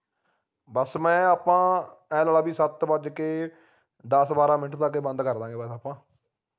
ਬਸ ਮੈਂ ਆਪਾ ਐ ਲਾ ਲਾ ਬਈ ਸੱਤ ਵੱਜ ਕੇ ਦੱਸ ਬਾਰਾਂ minute ਤੱਕ ਇਹ ਬੰਦ ਕਾਰਦਾਂਗੇ ਬਸ ਆਪਾ